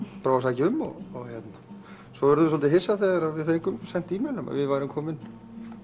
prófa að sækja um svo urðum við soldið hissa þegar við fengum sent e mail um að við værum komin